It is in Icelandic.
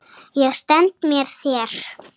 Ég stend með þér.